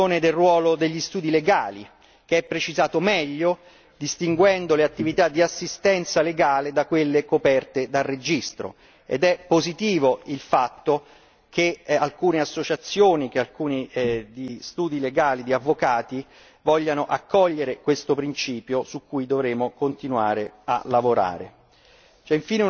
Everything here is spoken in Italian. C'è poi la questione del ruolo degli studi legali, che è precisato meglio distinguendo le attività di assistenza legale da quelle coperte dal registro, ed è positivo il fatto che alcune associazioni di studi legali di avvocati vogliano accogliere questo principio su cui dovremo continuare a lavorare.